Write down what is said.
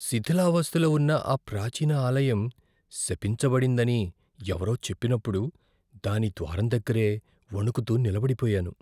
శిథిలావస్థలో ఉన్న ఆ ప్రాచీన ఆలయం శపించబడిందని ఎవరో చెప్పినప్పుడు, దాని ద్వారం దగ్గరే వణుకుతూ నిలబడిపోయాను.